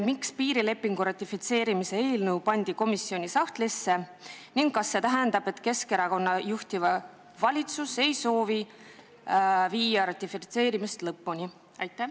Miks piirilepingu ratifitseerimise eelnõu pandi komisjoni sahtlisse ning kas see tähendab, et Keskerakonna juhitav valitsus ei soovi viia ratifitseerimist lõpule?